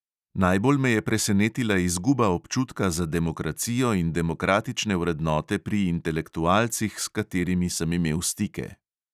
Najbolj me je presenetila izguba občutka za demokracijo in demokratične vrednote pri intelektualcih, s katerimi sem imel stike.